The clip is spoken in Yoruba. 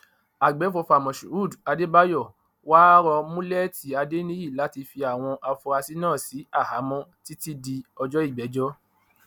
àgbẹfọfà moshood adébáyò wàá rọ mùlẹẹtì adéníyí láti fi àwọn afurasí náà sí àhámọ títí di ọjọ ìgbẹjọ